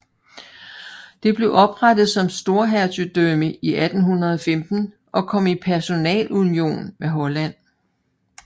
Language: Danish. Det blev oprettet som storhertugdømme i 1815 og kom i personalunion med Holland